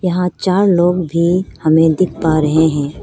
यहां चार लोग भी हमें दिख पा रहे हैं।